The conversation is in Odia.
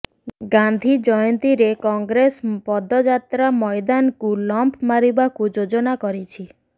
ଗାନ୍ଧି ଜୟନ୍ତୀରେ କଂଗ୍ରେସ ପଦଯାତ୍ରା ମଇଦାନକୁ ଲମ୍ପ ମାରିବାକୁ ଯୋଜନା କରିଛି